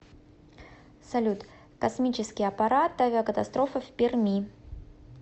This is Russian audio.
салют космический аппарат авиакатастрофа в перми